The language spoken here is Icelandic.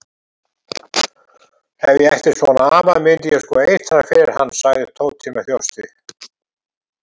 Ef ég ætti svona afa myndi ég sko eitra fyrir hann sagði Tóti með þjósti.